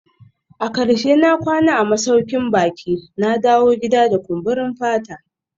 A karshe na kwana a masaukin baki, na dawo gida da kumburin fata